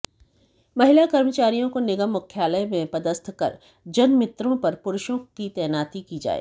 महिला कर्मचारियों को निगम मुख्यालय में पदस्थ कर जनमित्रों पर पुरूषों की तैनाती की जाए